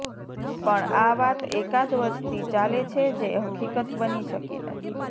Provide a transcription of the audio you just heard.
પણ આ વાત એકાદ વર્ષથી ચાલે છે જે હકિકત બની શકી નથી